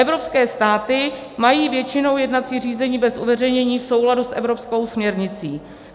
Evropské státy mají většinou jednací řízení bez uveřejnění v souladu s evropskou směrnicí.